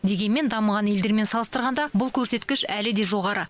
дегенмен дамыған елдермен салыстырғанда бұл көрсеткіш әлі де жоғары